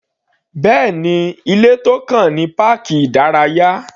Bẹ́ẹ̀ni, ilé tó kàn ní páàkì ìdárayá.